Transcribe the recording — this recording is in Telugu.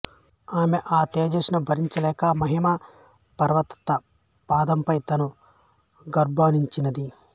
ఆమె ఆ తేజస్సును భరించలేక హిమవత్పర్వత పాదంపై తన గర్భాన్నుంచింది